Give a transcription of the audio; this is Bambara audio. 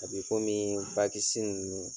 A bi komi bakisi ninnu.